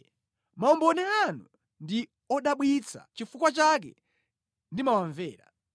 Maumboni anu ndi odabwitsa nʼchifukwa chake ndimawamvera.